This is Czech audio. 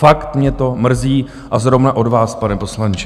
Fakt mě to mrzí, a zrovna od vás, pane poslanče.